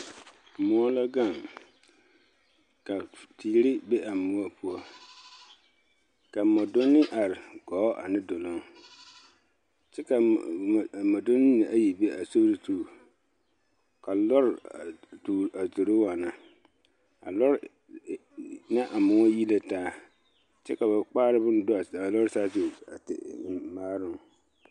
moɔ la gaŋ ka teere be a moɔ poɔ ka moɔdonne are gɔɔ ane duluŋ kyɛ ka moɔdonne mine ayi be a sori zu ka lɔ a zoro waana a lɔ ne a moɔ yi la taa kyɛ ka ba kpare bonne do a lɔ saazu a te eŋ maaroŋ.